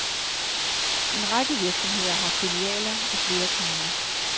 En række virksomheder har filialer i flere kommuner.